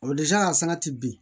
san ti bin